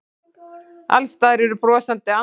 Alls staðar eru brosandi andlit.